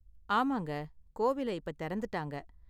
ஆமாங்க, கோவில இப்ப தெறந்துட்டாங்க.